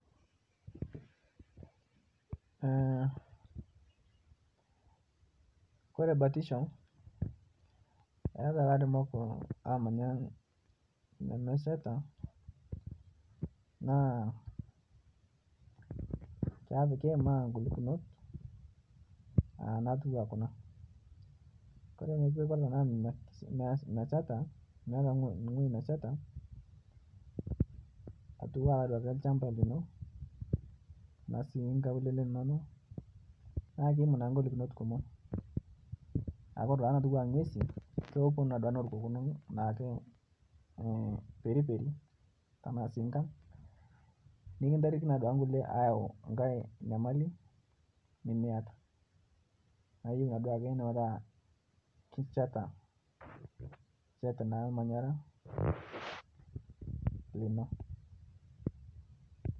Ore batisho etaa nkumok namanya ewuejitin nemeshaita ore peeku meet ewueji neshaita too nkaulele eno naa kegolu amu ore ng'uesi naa kewok periperi nikiyaki enkae nyamali nayieu duo neeku keshaita ormanyara lino